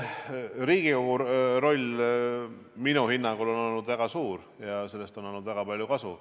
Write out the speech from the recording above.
Riigikogu roll minu hinnangul on olnud väga suur ja sellest on olnud väga palju kasu.